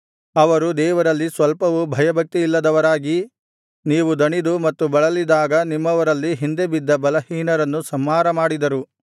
ಅವರು ದೇವರಲ್ಲಿ ಸ್ವಲ್ಪವೂ ಭಯಭಕ್ತಿಯಿಲ್ಲದವರಾಗಿ ನೀವು ದಣಿದು ಮತ್ತು ಬಳಲಿದಾಗ ನಿಮ್ಮವರಲ್ಲಿ ಹಿಂದೆಬಿದ್ದ ಬಲಹೀನರನ್ನು ಸಂಹಾರ ಮಾಡಿದರು